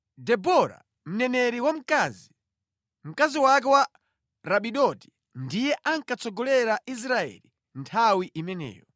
Debora, mneneri wamkazi, mkazi wake wa Rapidoti ndiye ankatsogolera Israeli nthawi imeneyo.